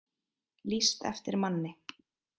Lýst eftir manni